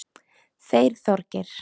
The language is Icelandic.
Þeir Þorgeir